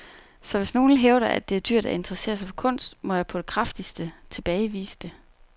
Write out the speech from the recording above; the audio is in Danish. Så hvis nogle hævder, at det er dyrt at interessere sig for kunst, må jeg på det kraftigste tilbagevise det.